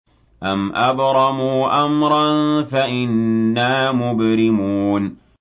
أَمْ أَبْرَمُوا أَمْرًا فَإِنَّا مُبْرِمُونَ